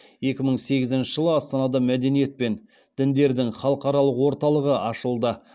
екі мың сегізінші жылы астанада мәдениет пен діндердің халықаралық орталығы ашылды